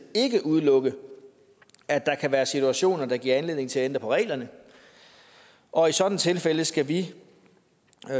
ikke udelukke at der kan være situationer der kan give anledning til at ændre på reglerne og i sådanne tilfælde skal vi